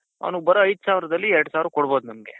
ಅವನಿಗ್ ಬರೋ ಐದ್ ಸಾವಿರದಲ್ಲಿ ಎರಡು ಸಾವಿರ ಕೊಡ್ಬಹುದು ನಮ್ಗೆ.